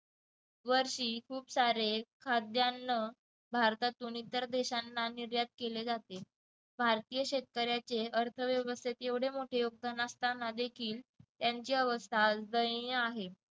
वर्षी खूप सारे खाद्यान्न भारतातून इतर देशांना निर्यात केले जाते भारतीय शेतकऱ्यांचे अर्थव्यवस्थेत एवढे मोठे योगदान असताना देखील त्यांची अवस्था आज दैनीय आहे